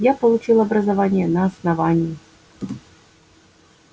я получил образование на основании